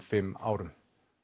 fimm árum